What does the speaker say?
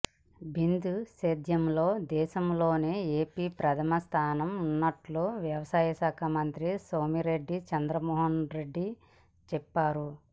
బిందు సేద్యంలో దేశంలోనే ఏపీ ప్రథమస్థానంలో ఉన్నట్లు వ్యవసాయశాఖ మంత్రి సోమిరెడ్డి చంద్రమోహన్రెడ్డి చెప్పారు